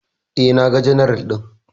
E, naga general ɗin.